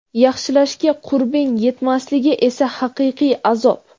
yaxshilashga qurbing yetmasligi esa haqiqiy azob.